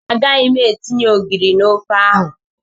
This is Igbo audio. Agaghị m etinye ogiri na ofe ahụ.